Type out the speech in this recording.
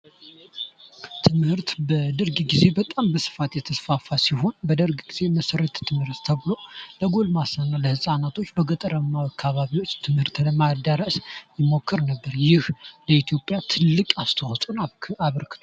ትምህርት በደርግ ግዜ በጣም በስፋት የተስፋፋ በደርግ ግዜ መሠረተ ትምህርት ተብሎ ለጎልማሳ እና ለህፃናቶች በገጠራማዎች አካባቢ ትምህርት ለማደረስ ይሞክር ነበር። ለኢትዮጵያ ትልቅ አስተዋፅኦ አበርክቷል።